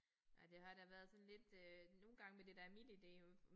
Nej det har da været sådan lidt øh nogle gange med det der MitID øh